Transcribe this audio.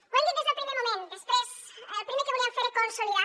ho hem dit des del primer moment el primer que volíem fer era consolidar ho